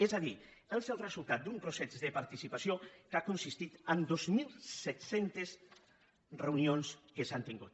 és a dir és el resultat d’un procés de participació que ha consistit en dos mil set cents reunions que s’han tingut